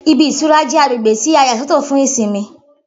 Ibi -ìtura jẹ́ agbègbè tí à yà sọ́ tọ̀ fún ìsinmi.